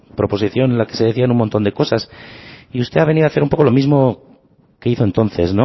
proposición en la que se decían un montón de cosas y usted ha venido a hacer un poco lo mismo que hizo entonces